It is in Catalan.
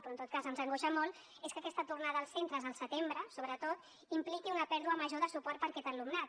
però en tot cas ens angoixa molt és que aquesta tornada als centres al setembre sobretot impliqui una pèrdua major de suport per a aquest alumnat